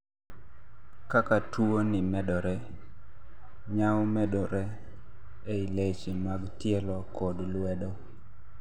kaka tuo ni medore, nyawo medore ei leche mag tielo kod luedo